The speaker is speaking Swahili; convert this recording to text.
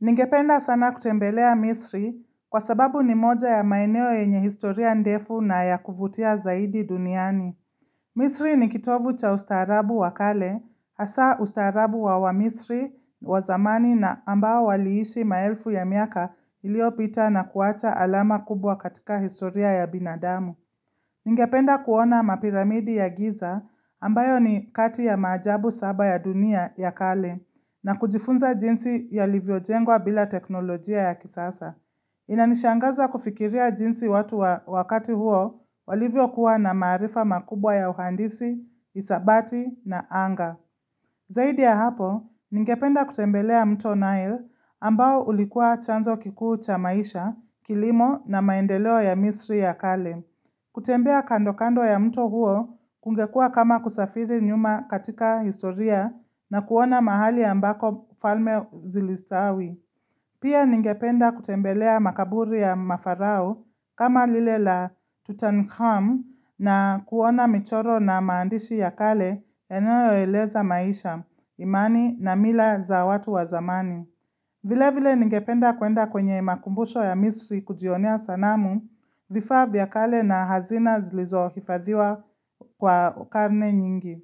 Ningependa sana kutembelea Misri kwa sababu ni moja ya maeneo yenye historia ndefu na yakuvutia zaidi duniani. Misri ni kitovu cha ustaarabu wa kale, hasa ustaarabu wa waMisri wa zamani na ambao waliishi maelfu ya miaka iliyopita na kuwacha alama kubwa katika historia ya binadamu. Ningependa kuona mapiramidi ya Giza ambayo ni kati ya maajabu saba ya dunia ya kale na kujifunza jinsi yalivyo jengwa bila teknolojia ya kisasa. Inanishangaza kufikiria jinsi watu wa wakati huo walivyokuwa na maarifa makubwa ya uhandisi, hisabati na anga. Zaidi ya hapo, ningependa kutembelea mto Nile ambao ulikuwa chanzo kikuu cha maisha, kilimo na maendeleo ya misri ya kale. Kutembea kando kando ya mto huo kungekuwa kama kusafiri nyuma katika historia na kuona mahali ambako ufalme zilistawi Pia ningependa kutembelea makaburi ya mafarao kama lile la Tutankham na kuona michoro na maandishi ya kale yanayoeleza maisha, imani na mila za watu wa zamani vile vile ningependa kuenda kwenye makumbusho ya misri kujionea sanamu, vifaa vya kale na hazina zilizo hifadhiwa kwa karne nyingi.